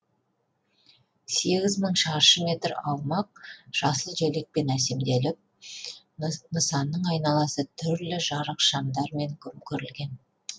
сегіз мың шаршы метр аумақ жасыл желекпен әсемделіп нысанның айналасы түрлі жарық шамдармен көмкерілген